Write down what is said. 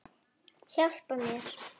Hjálpa mér!